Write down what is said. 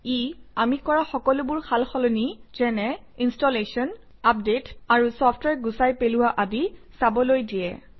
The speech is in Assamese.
ই আমি কৰা সকলোবোৰ সাল সলনি যেনে - ইনষ্টলেশ্যন আপডেট আৰু চফট্ৱেৰ গুচাই পেলোৱা আদি চাবলৈ দিয়ে